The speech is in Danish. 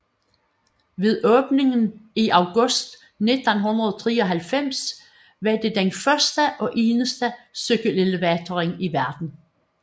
Ved åbningen i august 1993 var det den første og eneste cykelelevator i verden